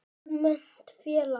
Almennt félag